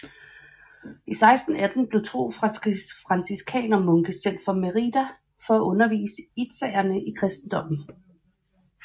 I 1618 blev to franciskanermunke sendt fra Meridá for at undervise itzaerne i kristendommen